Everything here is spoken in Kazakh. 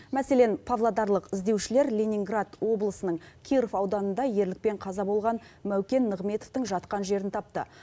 мәселен павлодарлық іздеушілер ленинград облысының киров ауданында ерлікпен қаза болған мәукен нығметовтің жатқан жерін тапты